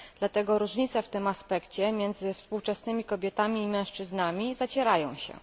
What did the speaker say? Dlatego różnice w tym aspekcie między współczesnymi kobietami i mężczyznami zacierają się.